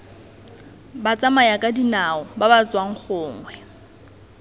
batsamayakadinao ba ba tswang gongwe